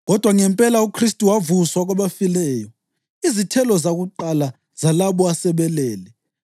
Kodwa ngempela uKhristu wavuswa kwabafileyo, izithelo zakuqala zalabo asebelele.